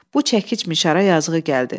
Bu çəkicmişara yazığı gəldi.